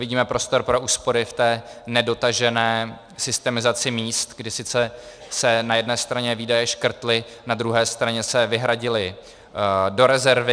Vidíme prostor pro úspory v té nedotažené systemizaci míst, kdy sice se na jedné straně výdaje škrtly, na druhé straně se vyhradily do rezervy.